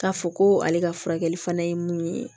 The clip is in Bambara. K'a fɔ ko ale ka furakɛli fana ye mun ye